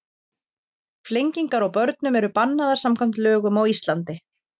flengingar á börnum eru bannaðar samkvæmt lögum á íslandi